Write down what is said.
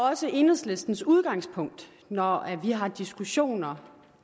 også enhedslistens udgangspunkt når vi har diskussioner